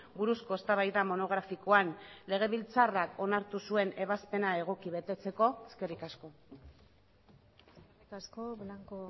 buruzko eztabaida monografikoan lege biltzarrak onartu zuen ebazpena egoki betetzeko eskerrik asko eskerrik asko blanco